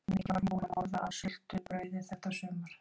Mikið var hún búin að borða af sultu- brauði þetta sumar!